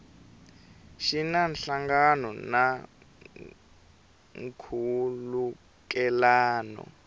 xi na nhlangano na nkhulukelano